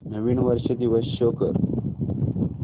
नवीन वर्ष दिवस शो कर